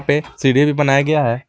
पे सीढ़ी भी बनाया गया है।